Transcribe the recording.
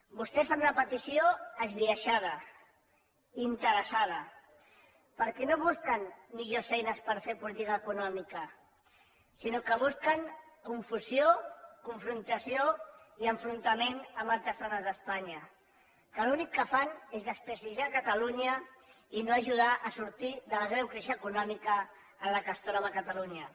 vostès fan una petició esbiaixada interessada perquè no busquen millors eines per fer política econòmica sinó que busquen confusió confrontació i enfrontament amb altres zones d’espanya que l’únic que fan és desprestigiar catalunya i no ajudar a sortir de la greu crisi econòmica en què es troba catalunya